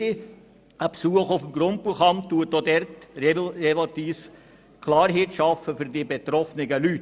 Der Besuch auf dem Grundbuchamt schafft Klarheit für die betroffenen Leute.